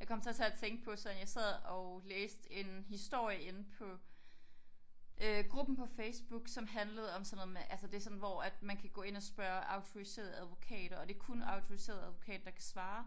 Jeg kom så til at tænke på sådan jeg sad og læste en historie inde på øh gruppen på Facebook som handlede om sådan noget med altså det sådan hvor at man kan gå ind og spørge autoriserede advokater og det kun autoriserede advokater der kan svare